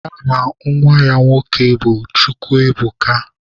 Aha nwa ya nwoke bụ Chukwuebuka.